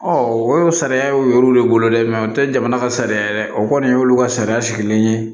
o sariya y'u le bolo dɛ o tɛ jamana ka sariya o kɔni y'olu ka sariya sigilen ye